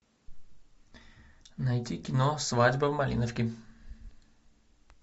найди кино свадьба в малиновке